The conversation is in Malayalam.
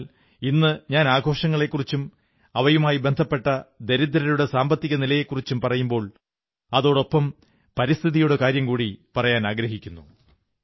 എന്നാൽ ഇന്നു ഞാൻ ആഘോഷങ്ങളെക്കുറിച്ചും അവയുമായി ബന്ധപ്പെട്ട ദരിദ്രരുടെ സാമ്പത്തികനിലയെക്കുറിച്ചും പറയുമ്പോൾ അതോടൊപ്പം പരിസ്ഥിതിയുടെ കാര്യവും കൂടി പറയാനാഗ്രഹിക്കുന്നു